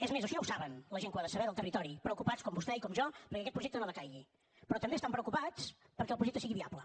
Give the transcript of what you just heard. és més això ja ho saben la gent que ho ha de saber del territori preocupats com vostè i com jo perquè aquest projecte no decaigui però també estan preocupats perquè el projecte sigui viable